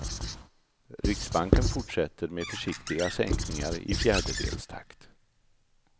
Riksbanken fortsätter med försiktiga sänkningar i fjärdedelstakt.